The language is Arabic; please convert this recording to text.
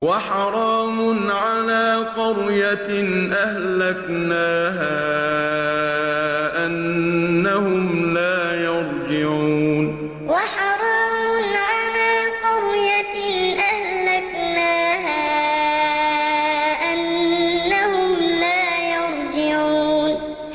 وَحَرَامٌ عَلَىٰ قَرْيَةٍ أَهْلَكْنَاهَا أَنَّهُمْ لَا يَرْجِعُونَ وَحَرَامٌ عَلَىٰ قَرْيَةٍ أَهْلَكْنَاهَا أَنَّهُمْ لَا يَرْجِعُونَ